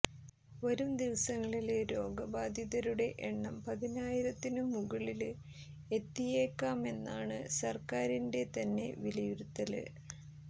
വരും ദിവസങ്ങളില് രോഗബാധിതരുടെ എണ്ണം പതിനായിരത്തിനു മുകളില് എത്തിയേക്കാമെന്നാണ് സര്ക്കാറിന്റെ തന്നെ വിലയിരുത്തല്